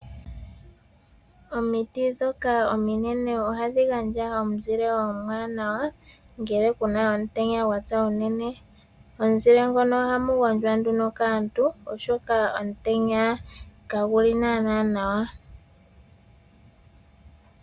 Omiti ndhoka ominene ohadhi gandja omuzile omwaanawa ngele ku na omutenya unene. Momuzile ngono ohamu gondjwa nduno kaantu, oshoka omutenya kagu li naanaa nawa.